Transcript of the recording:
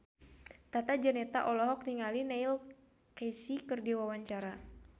Tata Janeta olohok ningali Neil Casey keur diwawancara